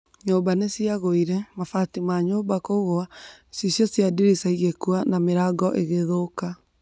Nyũmba niciagũire, mabati ma nyũmba kũgũa, icicio cia ndirisa igikua na mĩrango ikithũka